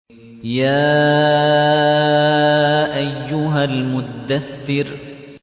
يَا أَيُّهَا الْمُدَّثِّرُ